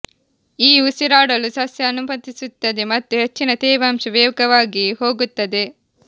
ಈ ಉಸಿರಾಡಲು ಸಸ್ಯ ಅನುಮತಿಸುತ್ತದೆ ಮತ್ತು ಹೆಚ್ಚಿನ ತೇವಾಂಶ ವೇಗವಾಗಿ ಹೋಗುತ್ತದೆ